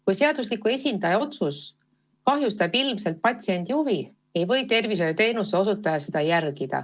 Kui seadusliku esindaja otsus kahjustab ilmselgelt patsiendi huve, ei või tervishoiuteenuse osutaja seda järgida.